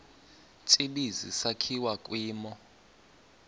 tsibizi sakhiwa kwimo